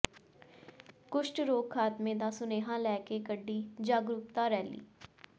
ਕੁਸ਼ਟ ਰੋਗ ਖਾਤਮੇ ਦਾ ਸੁਨੇਹਾ ਲੈ ਕੇ ਕੱਢੀ ਜਾਗਰੂਕਤਾ ਰੈਲੀ